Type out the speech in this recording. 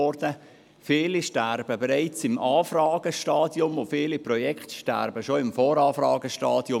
Viele Projekte sterben bereits im Anfragestadium, und viele sterben bereits im Voranfragestadium.